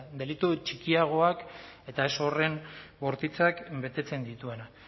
delitu txikiagoak eta ez horren bortitzak betetzen dituena